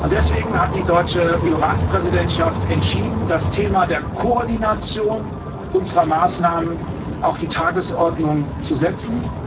Deswegen hat die deutsche EU Ratspräsidentschaft entschieden, das Thema der Koordination unserer Maßnahmen auf die Tagesordnung zu setzen.